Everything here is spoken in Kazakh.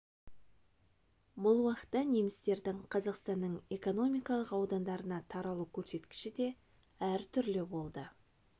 бұл уақытта немістердің қазақстанның экономикалық аудандарына таралу көрсеткіші де әр түрлі болды